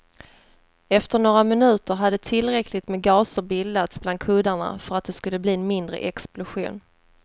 Efter några minuter hade tillräckligt med gaser bildats bland kuddarna för att det skulle bli en mindre explosion.